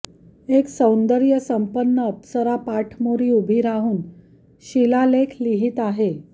एक सौंदर्यसंपन्न अप्सरा पाठमोरी उभी राहून शिलालेख लिहीत आहे